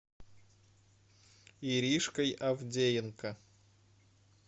иришкой авдеенко